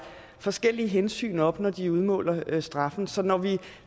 forskellige hensyn op når de udmåler straffen så når vi